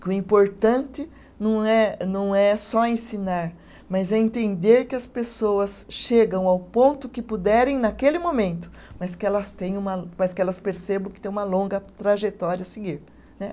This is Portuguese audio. Que o importante não é, não é só ensinar, mas é entender que as pessoas chegam ao ponto que puderem naquele momento, mas que elas têm uma, mas que elas percebam que tem uma longa trajetória a seguir né.